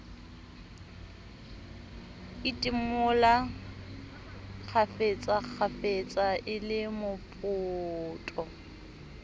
idimola kgafetsakgafetsa e le mopoto